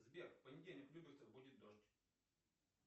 сбер в понедельник в люберцах будет дождь